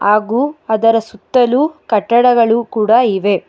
ಹಾಗೂ ಅದರ ಸುತ್ತಲು ಕಟ್ಟಡಗಳು ಕೂಡ ಇವೆ.